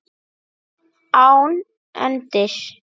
Án endis.